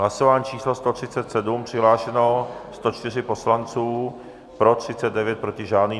Hlasování číslo 137, přihlášeno 104 poslanců, pro 39, proti žádný.